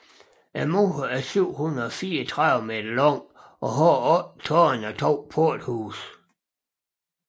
Muren er 734 m lang og har otte tårne og to porthuse